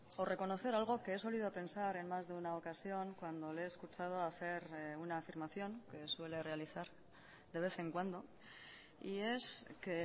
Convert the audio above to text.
o reconocer algo que he sólido pensar en más de una ocasión cuando le he escuchado hacer una afirmación que suele realizar de vez en cuando y es que